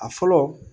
A fɔlɔ